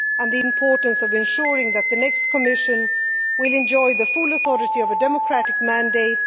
the importance of ensuring that the next Commission will enjoy the full authority of a democratic mandate